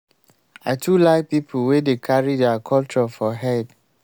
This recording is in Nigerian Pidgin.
i too like pipo wey dey carry their culture for head.